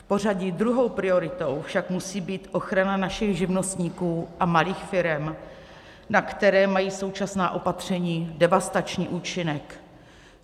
V pořadí druhou prioritou však musí být ochrana našich živnostníků a malých firem, na které mají současná opatření devastační účinek.